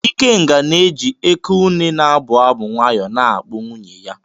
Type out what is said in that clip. Ikenga na-eji Eké-ùnè na-abụ abụ nwayọ na-akpụ nwunye ya.